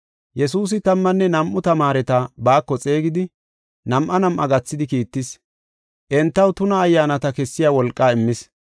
Yesuusi tammanne nam7u tamaareta baako xeegidi, nam7aa nam7aa gathidi kiittis. Entaw tuna ayyaanata kessiya wolqaa immis.